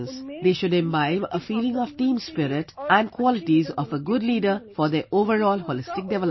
They should have a feeling of team spirit and the qualities of a good leader for their overall holistic development